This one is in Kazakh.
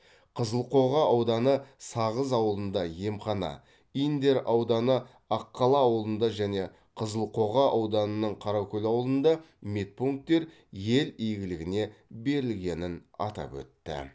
қызылқоға ауданы сағыз ауылында емхана индер ауданы аққала ауылында және қызылқоға ауданының қаракөл ауылында медпункттер ел игілігіне берілгенін атап өтті